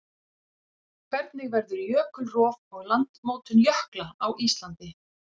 Hvernig verður jökulrof og landmótun jökla á Íslandi?